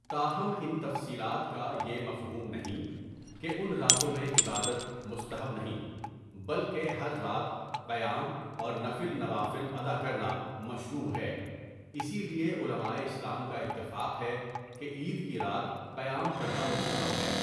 تاہم ان تفصیلات کا یہ مفہوم نہیں کہ ان راتوں میں عبادت مستحب نہیں، بلکہ ہر رات قيام اور نفل نوافل ادا كرنا مشروع ہے اسی لیے علمائے اسلام کا اتفاق ہے کہ عيد کی رات قیام کرنا مستحب ہے.